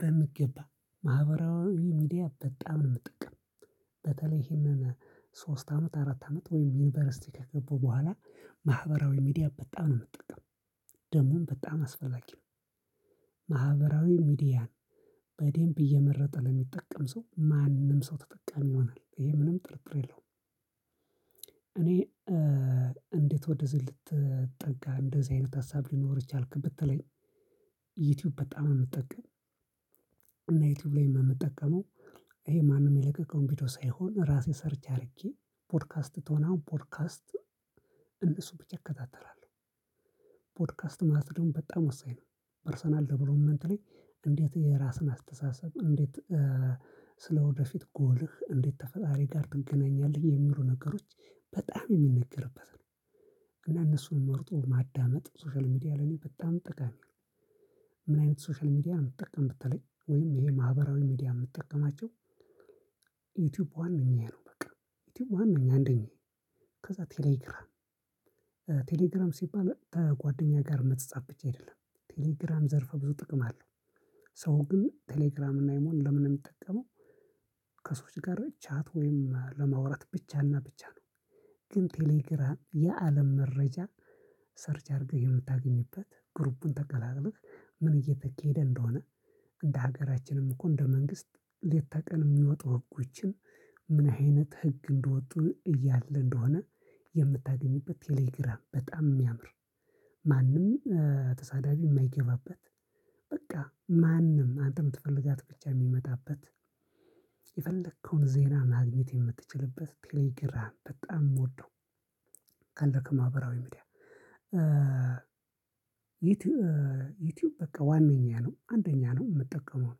በሚገባ ማህበራዊ ሚዲያ በጣም ነው የምጠቀም። በተለይ ይሄንን ሶስት አመት አራት አመት ወይም ዩኒቨርሲቲ ከገባው በኋላ። ማህበራዊ ሚዲያ በጣም ነው የምጠቀመው ደግሞም በጣም አስፈላጊ ነው። ማህበራዊ ሚዲያን በዴምብ እየመረጠ ለሚጠቀም ሰው ማንም ሰው ተጠቃሚ ይሆናል ይሄ ምንም ጥርጥር የለውም። እኔ እንዴት ወደዚህ ልትጠጋ እንደዚህ አይነት ሀሳብ ሊኖርህ ቻልክ ብትለኝ? ዩቲዩብ በጣም ነው የምጠቀመው። እና ዩቲዩብ ላይ የምጠቀመው ይሄ ማንም የለቀቀውን ቪዲዮ ሳይሆን ራሴ ሰርች አድርጌ ፖድካስት ከሆነ አሁን ፖድካስት እነሱ ብቻ እከታተላለሁ። ፖድካስት ማለት ደግሞ በጣም ወሳኝ ነው። ፐርሰናል ደቨሎፕመንት ላይ እንዴት የራስህን አስተሳሰብ እንዴት ስለወደፊት ጎልህ እንዴት ተፈጣሪ ጋር ትገናኛለህ የሚሉ ነገሮች በጣም የሚነገርበት ነው። ግን እነሱን መርጦ ማዳመጥ ሶሻል ሚዲያ ለኔ በጣም ጠቃሚ ነው። ምን አይነት ሶሻል ሚዲያ ነው የምትጠቀም ብትለኝ? ወይም ይሄ ማህበራዊ ሚዲያ የምትጠቀማቸው? ዩቲዩብ ዋነኛዬ ነው። በቃ ዩቲዩብ ዋነኛዬ አንደኛዬ ከዛ ቴሌግራም ቴሌግራም ሲባል ከጓደኛ ጋር መፃጻፍ ብቻ አይደለም። ቴሌግራም ዘርፈ ብዙ ጥቅም አለው። ሰው ግን ቴሌግራም እና ኢሞን ለምን ነው የሚጠቀመው? ከሰዎች ጋር ቻት ወይም ለማውራት ብቻና ብቻ ነው። ግን ቴሌግራም የአለም መረጃ ሰርች አድርገህ የምታገኝበት ግሩፑን ተቀላቅልክ። ምን እየተካሄደ እንደሆነ? እንደ ሀገራችንም እኮ እንደ መንግስት ሌት ተቀን የሚወጡ ህጎችን ምን አይነት ህግ እንደወጡ እያለ እንደሆነ? የምታገኝበት ቴሌግራም በጣም የሚያምር። ማንም ተሳዳቢ የማይገባበት። በቃ ማንም አንተ የምትፈልጋት ብቻ የሚመጣበት። የፈለከውን ዜና ማግኘት የምትችልበት ቴሌግራም በጣም የምወደው። ካለክ ማህበራዊ ሚዲያ። ዩቲዩብ በቃ ዋነኛ ነው አንደኛ ነው የምጠቀመው ነው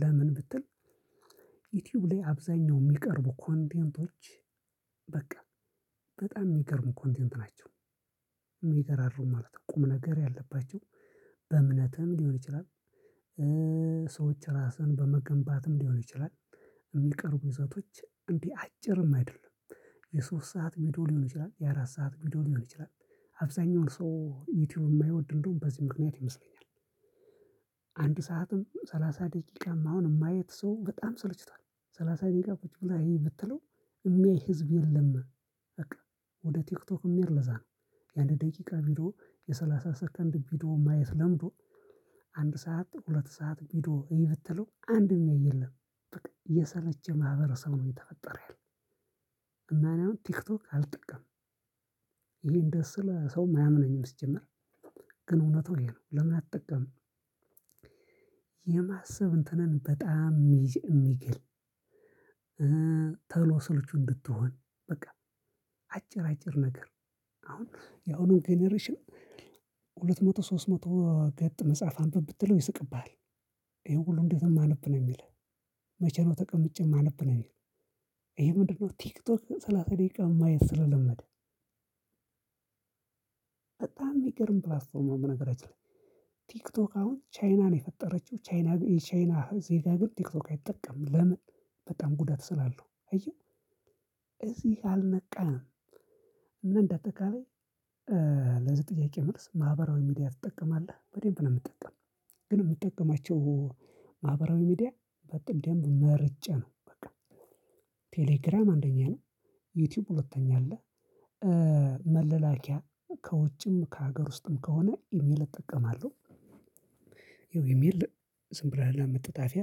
ለምን ብትል? ዩቲዩብ ላይ አብዛኛው የሚቀርቡ ኮንቴንቶች በቃ በጣም የሚገርሙ ኮንቴንት ናቸው። የሚገራሩሙ ማለት ነው ቁም ነገር ያለባቸው። በእምነትም ሊሆን ይችላል። ሰዎች ራስን በመገንባትም ሊሆን ይችላል። የሚቀርቡ ይዘቶች እንዲህ አጭርም አይደለም። የሶስት ሰዓት ቪዲዮ ሊሆን ይችላል የአራት ሰዓት ቪዲዮ ሊሆን ይችላል። አብዛኛውን ሰው ዩቲዩብ የማይወድ እንደውም በዚህ ምክንያት ይመስለኛል። አንድ ሰዓትም ሰላሳ ደቂቃም አሁን ማየት ሰው በጣም ስልችቷል። ሰላሳ ደቂቃ ቁጭ ብለህ እይ ብትለው? የሚያይ ህዝብ የለም። በቃ ወደ ቲክቶክ የሚሄድ ለዛ ነው። የአንድ ደቂቃ ቪዲዮ የሰላሳ ሰከንድ ቪዲዮ ማየት ለምዶ። አንድ ሰዓት ሁለት ሰዓት ቪዶ እይ ብትለው አንድም ሚያይ የለም። የሰለቸ ማህበረሰብ ነው እየተፈጠረ ያለው። እና እኔ አሁን ቲክቶክ አልጠቀምም። ይሄን እንደዚ ስል ሰውም አያምነኝም ሲጀምር። ግን እውነትው ይሄ ነው ለምን አትጠቀምም? የማሰብ እንትንን በጣም የሚገል ቶሎ ስልቹ እንድትሆን። በቃ አጭር አጭር ነገር አሁን ያሁኑ ጀነሬሽን ሁለት መቶ ሶስት መቶ ገጥ መጽሐፍ አንብብ ብትለው ይስቅብሃል። ይሄው ሁሉ እንዴት ነው ማነብ ነው የሚልህ። መቼ ነው ተቀምጬ ማነብ ነው? የሚልህ ይሄ ምንድነው ቲክቶክ ሰላሳ ደቂቃ ማየት ስለለመደ። በጣም የሚገርም ፕላትፎርም ነው። በነገራችን ላይ ቲክቶክ አሁን ቻይና ነው የፈጠረችው። ቻይና ግን የቻይና ዜጋ ግን ቲክቶክ አይጠቀምም ለምን? በጣም ጉዳት ስላለው አየህ። እዚህ አልነቃንም እና እንደአጠቃላይ። ለዚህ ጥያቄ መልስ ማህበራዊ ሚዲያ ትጠቀማለህ በደምብ ነው የምትጠቀመው። ግን የምጠቀማቸው ማህበራዊ ሚዲያ በደንብ መርጬ ነው በቃ። ቴሌግራም አንደኛ ነው። ዩቲዩብ ሁለተኛ አለ። መለላኪያ ከውጭም ከሀገር ውስጥም ከሆነ ኢሜል እጠቀማለሁ። ይኸው ኢሜል ዝም ብለህ ለመጠጣፊያ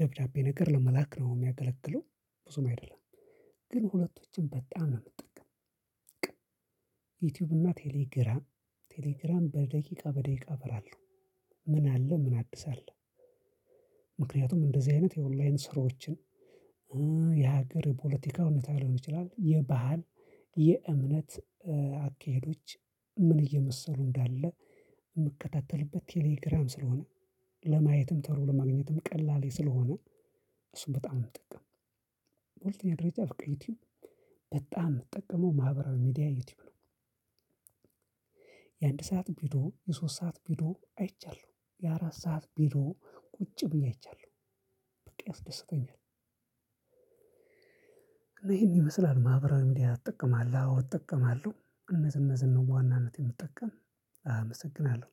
ደብዳቤ ነገር ለመላክ ነው የሚያገለግለው። ብዙም አይደለም። ግን ሁለቶችም በጣም ነው የምጠቀመው። በቃ ዩቲዩብ እና ቴሌግራም። ቴሌግራም በደቂቃ በደቂቃ አበራለው። ምን አለ ምን አዲስ አለ? ምክንያቱም እንደዚህ አይነት የኦንላይን ስራዎችን የሀገር የፖለቲካ ሁኔታ ሊሆን ይችላል። የባህል የእምነት አካሄዶች ምን እየመሰሉ እንዳለ? የምከታተልበት ቴሌግራም ስለሆነ። ለማየትም ቶሎ ለማግኘትም ቀላል ስለሆነ። እሱን በጣም የምጠቀምው። በሁለተኛ ደረጃ በቃ ዩቲዩብ በጣም የምጠቀመው ማህበራዊ ሚዲያ ዩቲዩብ ነው። የአንድ ሰዓት ቪዶ የሶስት ሰዓት ቪዶ አይቻለሁ የአራት ሰዓት ቪዶ ቁጭ ብዬ አይቻለሁ። በቃ ያስደስተኛል። እና ይሄን ይመስላል ማህበራዊ ሚዲያ እጠቀማለሁ እጠቀማለሁ እነዚህ እነዚህን ነው በዋናነት የምጠቀም። አመሰግናለሁ